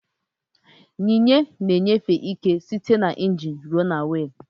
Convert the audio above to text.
Yinye na enyefe ike site na ingin ruo na wiil.